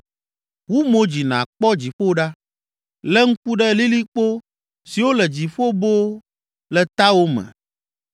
Wu mo dzi nàkpɔ dziƒo ɖa, le ŋku ɖe lilikpo siwo le dziƒo boo le tawòme